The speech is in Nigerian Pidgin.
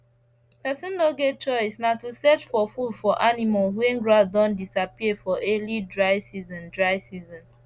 person no get choice na to search for food for the animals wen grass don disappear for early dry season dry season